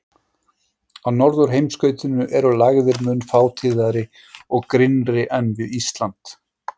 Á norðurheimskautinu eru lægðir mun fátíðari og grynnri en við Ísland.